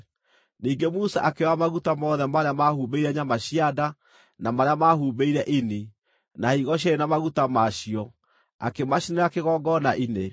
Ningĩ Musa akĩoya maguta mothe marĩa maahumbĩire nyama cia nda, na marĩa maahumbĩire ini, na higo cierĩ na maguta ma cio, akĩmacinĩra kĩgongona-inĩ.